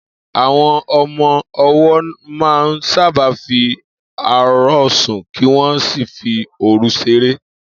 Àwo̩n o̩mo̩ o̩wó̩ máa ń sábà fi àárò̩ sùn kí wó̩n sì fi òru s̩eré